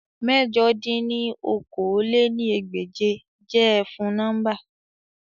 Mẹ̀jọ dín ní okòó-lé-ní-ẹgbẹ́je jẹ efun nọmba